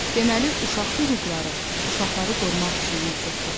Deməli, uşaq hüquqları uşaqları qorumaq üçün mövcuddur.